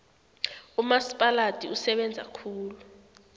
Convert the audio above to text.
umasipaladi usebenza kuhle